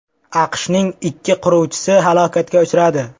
AQShning ikki qiruvchisi halokatga uchradi.